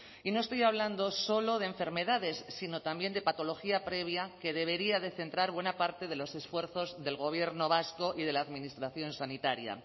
y no estoy hablando solo de enfermedades sino también de patología previa que debería de centrar buena parte de los esfuerzos del gobierno vasco y de la administración sanitaria